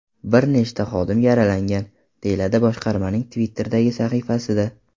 Bir nechta xodim yaralangan”, deyiladi boshqarmaning Twitter’dagi sahifasida.